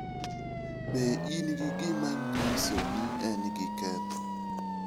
Be in gi gima nyiso ni en gi ketho?